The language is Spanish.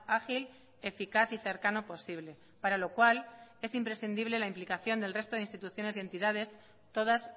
ágil eficaz y cercano posible para lo cual es imprescindible la implicación del resto de instituciones y entidades todas